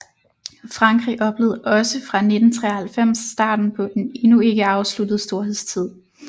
Frankrig oplevede også fra 1993 starten på en endnu ikke afsluttet storhedstid